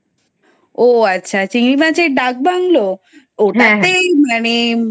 ওহ আচ্ছা চিংড়ি মাছের ডাকবাংলো ওটাতেই মানে